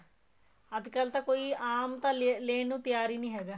ਅੱਜਕਲ ਤਾਂ ਕੋਈ ਆਮ ਤਾਂ ਲੈਣ ਨੂੰ ਤਿਆਰ ਹੀ ਨਹੀਂ ਹੈਗਾ